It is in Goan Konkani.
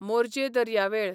मोरजे दर्यावेळ